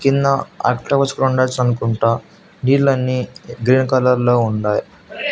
కింద అనుకుంటా నీళ్ళన్నీ గ్రీన్ కలర్ లో ఉండాయ్.